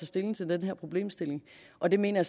stilling til den her problemstilling og det mener